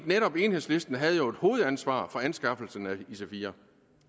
enhedslisten havde jo et hovedansvar for anskaffelsen af ic4